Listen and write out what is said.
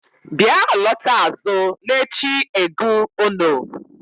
bya alọta azụ l'echi-ẹgu ono